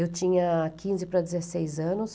Eu tinha quinze para dezesseis anos.